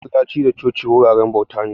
Masallaci da coci wuraren bauta ne